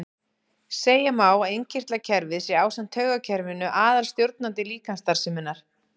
Segja má að innkirtlakerfið sé ásamt taugakerfinu aðalstjórnandi líkamsstarfseminnar.